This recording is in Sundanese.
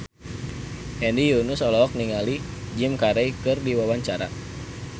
Hedi Yunus olohok ningali Jim Carey keur diwawancara